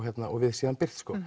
við síðan birt